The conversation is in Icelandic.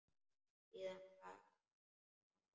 Síðan var allt bravó.